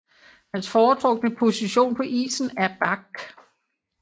Hans foretrukne position på isen er back